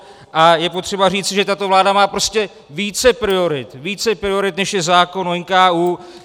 A je potřeba říci, že tato vláda má prostě více priorit, než je zákon o NKÚ.